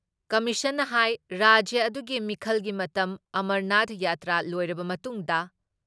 ꯀꯃꯤꯁꯟꯅ ꯍꯥꯏ ꯔꯥꯖ꯭ꯌ ꯑꯗꯨꯒꯤ ꯃꯤꯈꯜꯒꯤ ꯃꯇꯝ ꯑꯃꯔꯅꯥꯊ ꯌꯥꯇ꯭ꯔꯥ ꯂꯣꯏꯔꯕ ꯃꯇꯨꯡꯗ